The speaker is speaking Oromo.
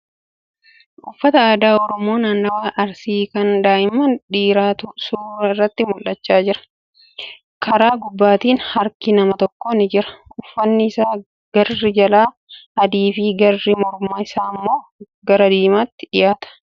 Uffata aadaa Oromomoo naannawaa Arsii kan daa'ima dhiiraatu suura irratti mul'achaa jira . Kara gubbaatiin harki namaa tokko ni jira . Uffanni isaa garri jalaa adii fi garri mormaa isaa immoo gara diimaatti dhiyaata.